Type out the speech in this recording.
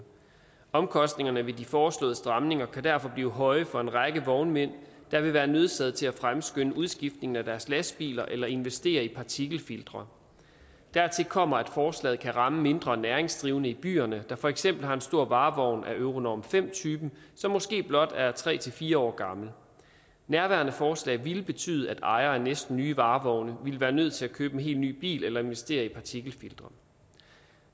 omkostningerne ved de foreslåede stramninger kan derfor blive høje for en række vognmænd der vil være nødsaget til at fremskynde udskiftningen af deres lastbiler eller investere i partikelfiltre dertil kommer at forslaget kan ramme mindre næringsdrivende i byerne der for eksempel har en stor varevogn af euronorm fem typen som måske blot er tre fire år gammel nærværende forslag ville betyde at ejere af næsten nye varevogne ville være nødt til at købe en helt ny bil eller investere i partikelfiltre